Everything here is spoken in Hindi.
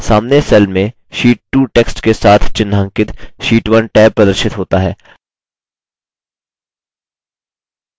सामने cell में sheet 2 text के साथ चिह्नांकित sheet 1 टैब प्रदर्शित होता है